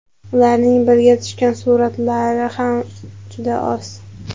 Ularning birga tushgan suratlari ham juda oz.